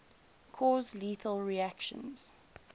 cause lethal reactions